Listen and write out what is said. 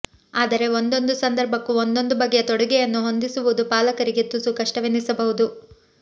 ಆದರೆ ಒಂದೊಂದು ಸಂದರ್ಭಕ್ಕೂ ಒಂದೊಂದು ಬಗೆಯ ತೊಡುಗೆಯನ್ನು ಹೊಂದಿಸುವುದು ಪಾಲಕರಿಗೆ ತುಸು ಕಷ್ಟವೆನಿಸಬಹುದು